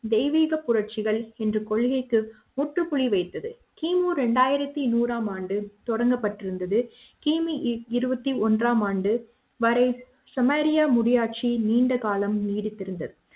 தெய்வீக புரட்சிகள் என்ற கொள்கைக்கு முற்றுப்புள்ளி வைத்தது கிமு இரண்டாயிரத்து நூறு ஆம் ஆண்டு தொடங்கப்பட்டிருந்தது கிமு இருபத்தி ஒன்றாம் நூற்றாண்டு வரை செமேரியா முடியாட்சி நீண்ட காலம் நீடித்திருந்தது